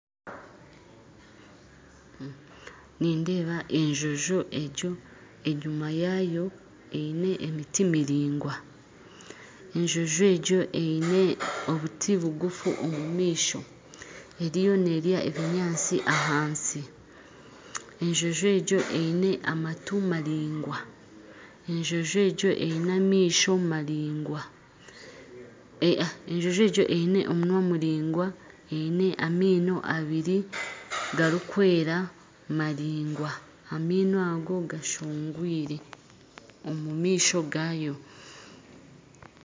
Nindeeba enjojo egyo enyima yaayo hariyo emiti miraingwa enjojo egyo eine obuti buguufu omumaisho eriyo neerya ebinyaasti ahansi enjonjo egyo eine amaatu maraingwa, omunwa muraigwa amaino abiri garikwera maraingwa amaino ago gashoogwire omumaisho gaayo